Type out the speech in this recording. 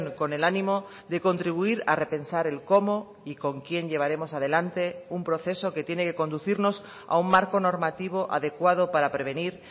con el ánimo de contribuir a repensar el cómo y con quién llevaremos adelante un proceso que tiene que conducirnos a un marco normativo adecuado para prevenir